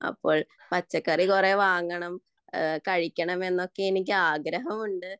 അപ്പോൾ പച്ചക്കറി കുറെ വാങ്ങണം കഴിക്കണം എന്നൊക്കെ എനിക്ക് ആഗ്രഹമുണ്ട്